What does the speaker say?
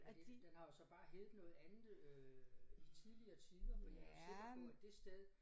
Og den den har jo så bare heddet noget andet øh i tidligere tider fordi jeg jo sikker på at det sted